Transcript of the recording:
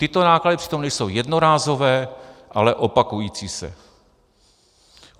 Tyto náklady přitom nejsou jednorázové, ale opakující se.